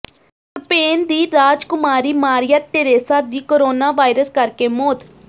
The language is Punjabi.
ਸਪੇਨ ਦੀ ਰਾਜਕੁਮਾਰੀ ਮਾਰੀਆ ਟੇਰੇਸਾ ਦੀ ਕੋਰੋਨਾ ਵਾਇਰਸ ਕਰਕੇ ਮੌਤ